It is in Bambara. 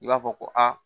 I b'a fɔ ko aa